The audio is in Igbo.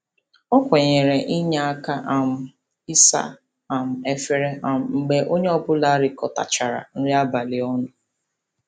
O kwenyere inye aka um n'ịsa um efere um mgbe onye ọbụla rikọtachara nri abalị ọnụ.